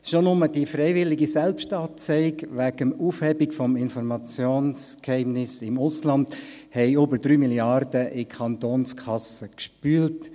Schon nur die freiwillige Selbstanzeige wegen der Aufhebung des Informationsgeheimnisses im Ausland hat über drei Milliarden Franken in die Kantonskassen gespült.